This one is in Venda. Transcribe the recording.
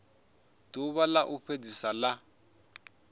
ḓuvha ḽa u fhedzisela ḽa